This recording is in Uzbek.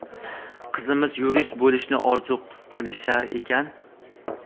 qizimiz yurist bo‘lishni orzu qilishar ekan.